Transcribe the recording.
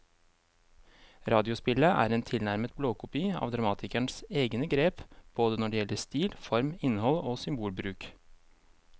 Radiospillet er en tilnærmet blåkopi av dramatikerens egne grep både når det gjelder stil, form, innhold og symbolbruk.